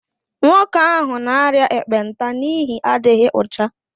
Nwoke ahụ n'aria ekpenta n'ihi adịghị ọcha